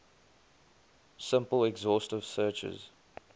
simple exhaustive searches